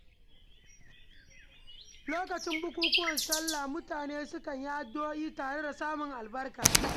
Lokacin bukukuwan salla mutane sukan yi addu’o’i tare don samun albarka.